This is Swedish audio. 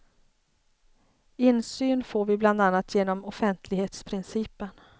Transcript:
Insyn får vi bland annat genom offentlighetsprincipen.